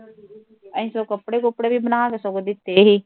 ਅਸੀਂ ਸਗੋਂ ਕੱਪੜੇ ਕੁਪੜੇ ਵੀ ਬਣਾਕੇ ਸਗੋਂ ਦਿੱਤੇ ਸੀ